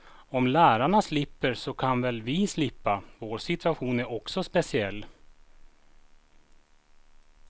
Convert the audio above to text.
Om lärarna slipper så kan väl vi slippa, vår situation är också speciell.